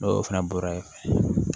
N'o fana bɔra yen